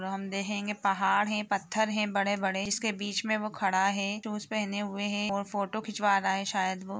और हम देखेंगे पहाड़ है पत्थर है बड़े बड़े उसके बिच में वो खड़ा है शूज पहेने हुए है और फोटो खिचवा रहा है शयद व--